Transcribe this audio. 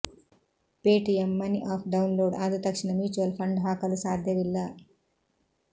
Paytm money app download ಆದ ತಕ್ಷಣ mutual fund ಹಾಕಲು ಸಾಧ್ಯವಿಲ್ಲ